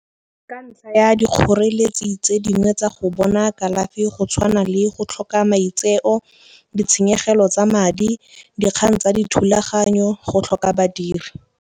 Ka ntlha ya dikgoreletsi tse dingwe tsa go bona kalafi go tshwana le go tlhoka maitseo, ditshenyegelo tsa madi, dikgang tsa dithulaganyo, go tlhoka badiri.